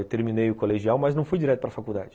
Eu terminei o colegial, mas não fui direto para faculdade.